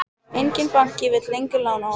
Enginn banki vill lengur lána honum.